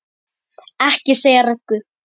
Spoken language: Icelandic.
Ekki segja Röggu!